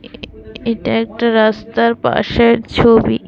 এটা একটা রাস্তার পাশের ছবি।